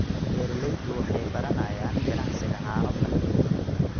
Beeraleydu waxay baranayaan ganacsiga caano fadhi.